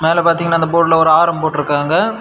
அந்தாள பாத்தீங்கன்னா அந்த போர்டில ஒரு ஆரம் போட்டிர்காங்க.